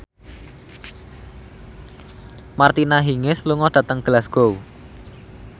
Martina Hingis lunga dhateng Glasgow